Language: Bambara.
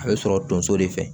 A bɛ sɔrɔ tonso de fɛ